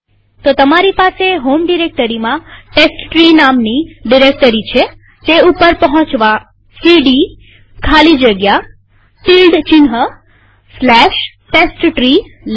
તો તમારી પાસે હોમ ડિરેક્ટરીમાં ટેસ્ટટ્રી નામની ડિરેક્ટરી છેતે ઉપર પહોંચવા સીડી ખાલી જગ્યા ટીલ્ડ testtree લખીએ